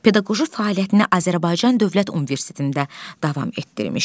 Pedaqoji fəaliyyətinə Azərbaycan Dövlət Universitetində davam etdirmişdi.